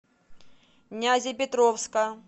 нязепетровска